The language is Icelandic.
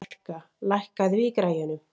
Valka, lækkaðu í græjunum.